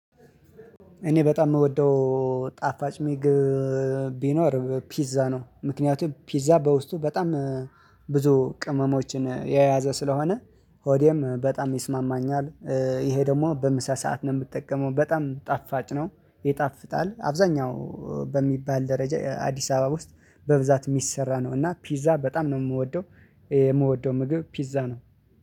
እኔ በጣም የምወደው ጣፋጭ ምግብ ቢኖር ፒዛ ነው ምክንያቱም ፒዛ በውስጡ በጣም ብዙ ቅመሞችን የያዘ ስለሆነ ሆዴም በጣም ይስማማኛል። ይሄ ደግሞ በምሳ ሰዓት ነው የምጠቀመው በጣም ጣፋጭ ነው። ይጣፍጣል አብዛኛው በሚባል ደረጃ አዲስ አበባ ውስጥ በብዛት የሚሰራ ነው እና ፒዛ በጣም ነው የምወደው። የምወደው ምግብ ፒዛ ነው